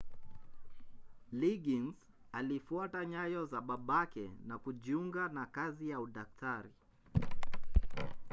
liggins alifuata nyayo za babake na kujiunga na kazi ya udaktari